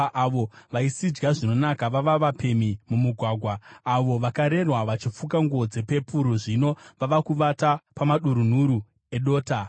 Avo vaisidya zvinonaka vava vapemhi mumugwagwa. Avo vakarerwa vachifuka nguo dzepepuru zvino vava kuvata pamadurunhuru edota.